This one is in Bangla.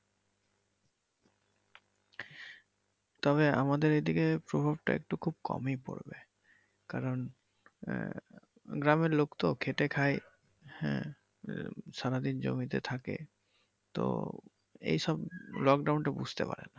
তবে আমাদের এইদিকে প্রভাবটা একটু খুব কমই পরবে মানে গ্রামের লোকতো খেটে খায় হ্যাঁ সারাদিন জমিতে থাকে তো এইসব লোকডাউন টা বুঝতে পারে না।